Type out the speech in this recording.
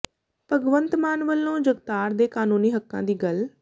ਭਗਵੰਤ ਮਾਨ ਵੱਲੋਂ ਜਗਤਾਰ ਦੇ ਕਨੂੰਨੀ ਹੱਕਾਂ ਦੀ ਗੱਲ